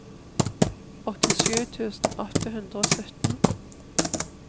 åttisju tusen åtte hundre og sytten